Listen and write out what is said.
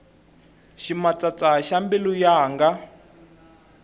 ximatsatsa xa mbilu yanga